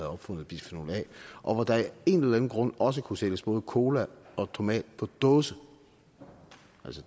opfundet bisfenol a og hvor der af en eller anden grund også kunne sælges både cola og tomat på dåse